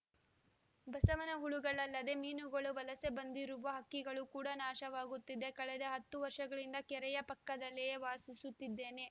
ಬಸವನ ಹುಳುಗಳಲ್ಲದೆ ಮೀನುಗಳು ವಲಸೆ ಬಂದಿರುವ ಹಕ್ಕಿಗಳು ಕೂಡ ನಾಶವಾಗುತ್ತಿವೆ ಕಳೆದ ಹತ್ತು ವರ್ಷಗಳಿಂದ ಕೆರೆಯ ಪಕ್ಕದಲ್ಲಿಯೇ ವಾಸಿಸುತ್ತಿದ್ದೇನೆ